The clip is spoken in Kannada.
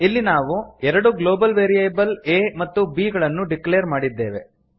ಇಲ್ಲಿ ನಾವು ಎರಡು ಗ್ಲೋಬಲ್ ವೇರಿಯೇಬಲ್ a ಮತ್ತು b ಗಳನ್ನು ಡಿಕ್ಲೇರ್ ಮಾಡಿದ್ದೇವೆ